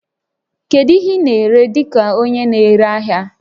Kedu ihe ị na-ere dị ka onye na-ere ahịa?